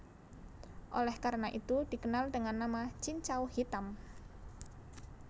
Oleh karena itu dikenal dengan nama Cincau Hitam